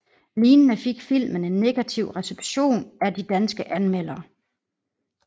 Lignende fik filmen en negativ reception af de danske anmeldere